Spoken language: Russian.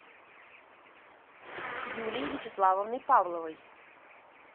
юлией вячеславовной павловой